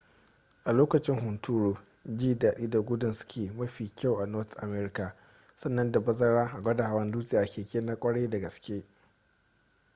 a lokaci hunturu ji dadi da gudun ski mafi kyau a north america sannan da bazara a gwada hawan dutse a keke na kwarai da gaske